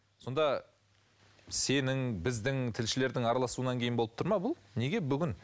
сонда сенің біздің тілшілердің араласуынан кейін болып тұр ма бұл неге бүгін